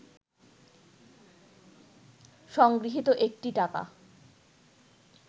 সংগৃহীত একটি টাকা